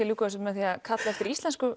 ljúka þessu með að kalla eftir íslensku